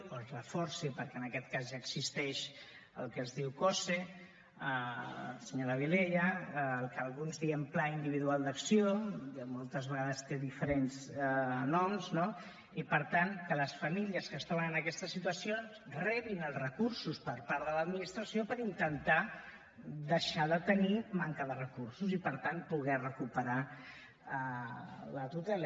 o es reforci perquè en aquest cas ja existeix el que es diu cose senyora vilella el que alguns en diem pla individual d’acció moltes vegades té diferents noms no i per tant que les famílies que es troben en aquesta situació rebin els recursos per part de l’administració per intentar deixar de tenir manca de recursos i per tant poder recuperar la tutela